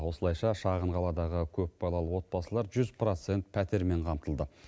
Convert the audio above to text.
осылайша шағын қаладағы көпбалалы отбасылар жүз процент пәтермен қамтылды